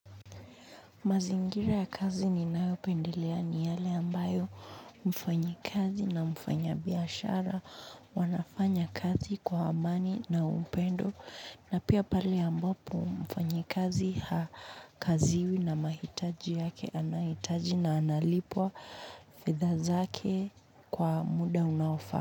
Mazingira ya kazi ninayopendelea ni yale ambayo mfanyikazi na mfanyabiashara wanafanya kazi kwa amani na upendo. Na pia pale ambapo mfanyikazi hakaziwi na mahitaji yake anahitaji na analipwa fedha zake kwa muda unaofaa.